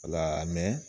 Wala